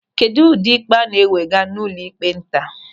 Kedụ ụdị ikpe a na-ewega n'ụlọịkpe nta?